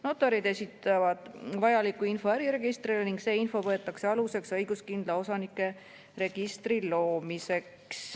Notarid esitavad vajaliku info äriregistrile ning see info võetakse aluseks õiguskindla osanike registri loomiseks.